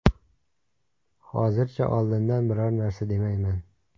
Hozircha oldindan biror narsa demayman.